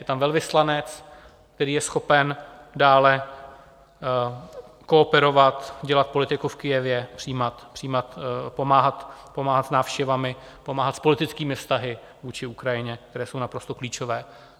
Je tam velvyslanec, který je schopen dále kooperovat, dělat politiku v Kyjevě, pomáhat s návštěvami, pomáhat s politickými vztahy vůči Ukrajině, které jsou naprosto klíčové.